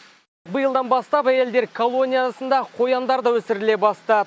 биылдан бастап әйелдер колониясында қояндар да өсіріле бастады